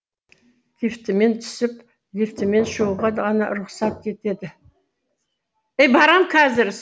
лифтімен түсіп лифтімен шығуға ғана рұқсат етеді